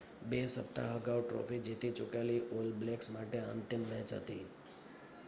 બે સપ્તાહ અગાઉ ટ્રૉફી જીતી ચૂકેલી ઑલ બ્લૅક્સ માટે આ અંતિમ મૅચ હતી